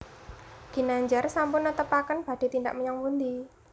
Ginandjar sampun netepaken badhe tindak menyang pundi